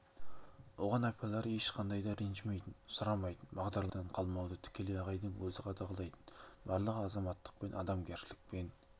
оған апайлар ешқандай да ренжімейтін сұрамайтын бағдарламадан қалмауды тікелей ағайдың өзі қадағалайтын барлығын азаматтықпен адамгершілікпен